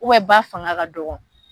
ba fanga ka dɔgɔ